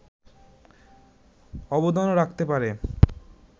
অবদানও রাখতে পারে